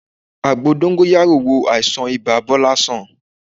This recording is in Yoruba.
Àgbo dóngóyárò wo àìsàn ibà Bọ́lá sàn